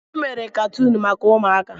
Emere katuun maka ụmụaka.